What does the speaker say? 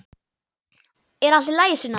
Er allt í lagi, Sunna?